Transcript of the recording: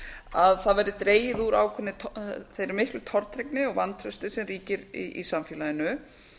að það verði dregið úr þeirri miklu tortryggni og vantrausti sem ríkir í samfélaginu